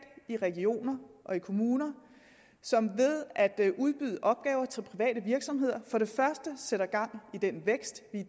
i regioner og i kommuner som ved at udbyde opgaver til private virksomheder for det første sætter gang i den vækst vi